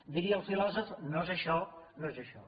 diria el filòsof no és això no és això